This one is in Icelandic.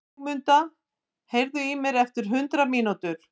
Sigurmunda, heyrðu í mér eftir hundrað mínútur.